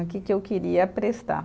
O que que eu queria prestar